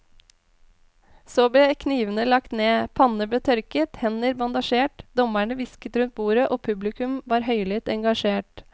Så ble knivene lagt ned, panner ble tørket, hender bandasjert, dommerne hvisket rundt bordet og publikum var høylytt engasjert.